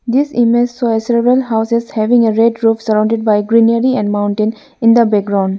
this image show a several houses having a red roof surrounded by greenery and mountain in the background.